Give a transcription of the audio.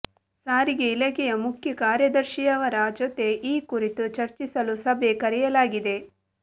ಸಾರಿಗೆ ಇಲಾಖೆಯ ಮುಖ್ಯ ಕಾರ್ಯದರ್ಶಿಯವರ ಜೊತೆ ಈ ಕುರಿತು ಚರ್ಚಿಸಲು ಸಭೆ ಕರೆಯಲಾಗಿದೆ